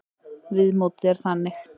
Viðmótið er þannig.